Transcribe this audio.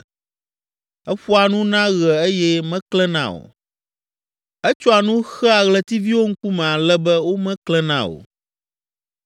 Eƒoa nu na ɣe eye meklẽna o, etsɔa nu xea ɣletiviwo ŋkume ale be womeklẽna o.